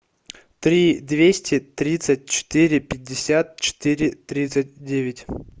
три двести тридцать четыре пятьдесят четыре тридцать девять